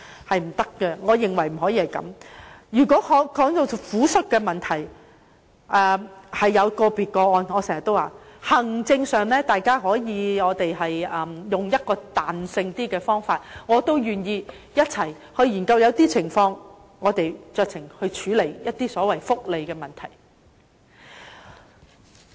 談到撫恤的問題，正如我經常說，可能會有個別的個案，我們可在行政上以比較彈性的方法處理，我也願意一同研究，看看在某些情況下能否酌情處理福利問題。